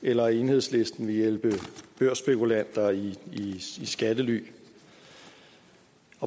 eller at enhedslisten vil hjælpe børsspekulanter i skattely